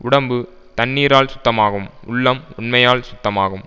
உடம்பு தண்ணீரால் சுத்தமாகும் உள்ளம் உண்மையால் சுத்தமாகும்